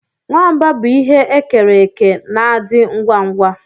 Nwamba bụ ihe e kere eke na-adị ngwa ngwa